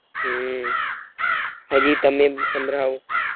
હમ હાજી તામે સંભ્રવો